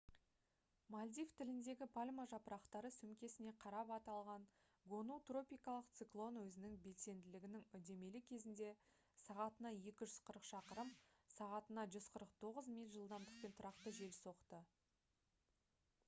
мальдив тіліндегі пальма жапырақтары сөмкесіне қарап аталған гону тропикалық циклон өзінің белсенділігінің үдемелі кезінде сағатына 240 шақырым сағатына 149 миль жылдамдықпен тұрақты жел соқты